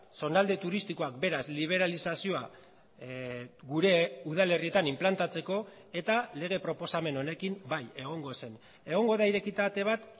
zonalde turistikoak beraz liberalizazioa gure udalerrietan inplantatzeko eta lege proposamen honekin bai egongo zen egongo da irekita ate bat